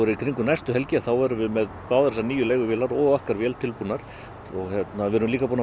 í kringum næstu helgi verðum við með báðar þessar nýju og okkar vél tilbúnar við erum líka búnir